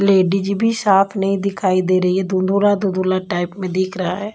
Ladies भी साथ नहीं दिखाई दे रही है धुंधला धुंधला टाइप में दिख रहा है।